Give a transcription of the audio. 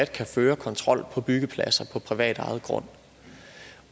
kan føre kontrol på byggepladser på privatejet grund